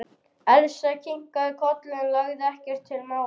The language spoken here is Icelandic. Elsa kinkaði kolli en lagði ekkert til málanna.